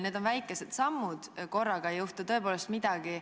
Need on väikesed sammud, korraga ei juhtu tõepoolest midagi.